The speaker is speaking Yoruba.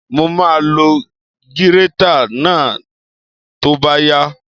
Mo máa lo gírétà náà tó bá yá